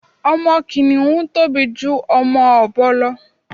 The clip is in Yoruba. Ọmọ kìnìhún tóbi ju ọmọ ọ̀bọ lọ